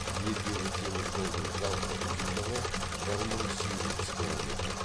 елдегі теміржолдың жалпы ұзындығы бір мың сегіз жүз километр